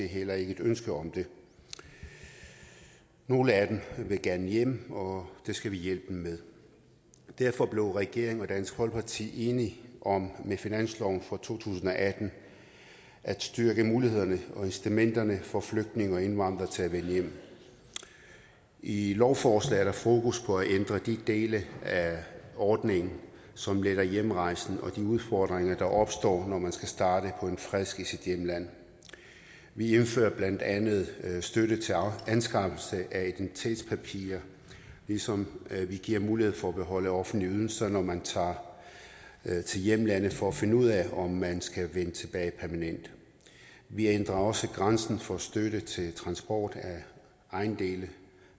heller ikke et ønske om det nogle af dem vil gerne hjem og det skal vi hjælpe dem med derfor blev regeringen og dansk folkeparti enige om med finansloven for to tusind og atten at styrke mulighederne og incitamenterne for flygtninge og indvandrere til at vende hjem i lovforslaget er der fokus på at ændre de dele af ordningen som letter hjemrejsen og de udfordringer der opstår når man skal starte på en frisk i sit hjemland vi indfører blandt andet støtte til anskaffelse af identitetspapirer ligesom vi giver mulighed for at beholde offentlige ydelser når man tager til hjemlandet for at finde ud af om man skal vende tilbage permanent vi ændrer også grænsen for støtte til transport af ejendele